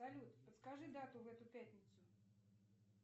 салют подскажи дату в эту пятницу